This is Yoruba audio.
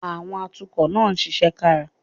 Àwọn atukọ̀ náà ṣiṣẹ́ kára